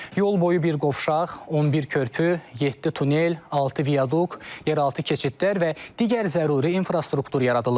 Yol boyu bir qovşaq, 11 körpü, yeddi tunel, altı viaduk, yeraltı keçidlər və digər zəruri infrastruktur yaradılıb.